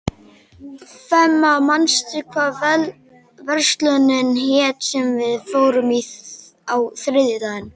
Fema, manstu hvað verslunin hét sem við fórum í á þriðjudaginn?